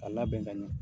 A labɛn ka ɲɛ